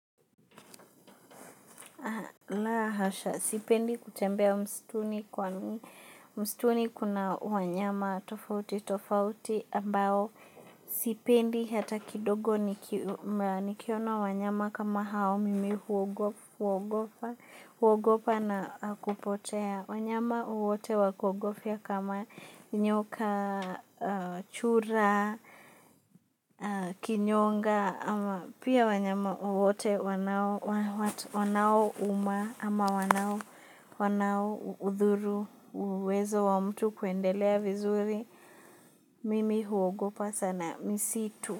La hasha, sipendi kutembea mstuni kwani mstuni kuna wanyama tofauti tofauti ambao sipendi hata kidogo nikiona wanyama kama hao mimi huogopa na kupotea. Wanyama wote wakuogofia kama nyoka, chura, kinyonga pia wanyama wote wanaouma ama wanaoudhuru uwezo wa mtu kuendelea vizuri mimi huogopa sana misitu.